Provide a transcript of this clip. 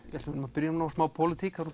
byrjum nú á smá pólitík það